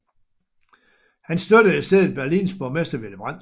Han støttede i stedet Berlins borgmester Willy Brandt